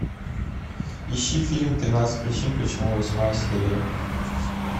ищи фильм тринадцать причин почему восьмая серия